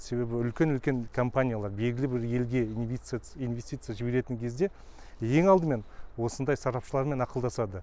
себебі үдкен үлкен компаниялар белгілі бір елге инвестиция жіберетін кезде ең алдымен осындай сарапшылармен ақылдасады